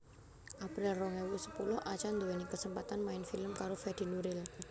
April rong ewu sepuluh Acha anduweni kesempatan main film karo Fedi Nuril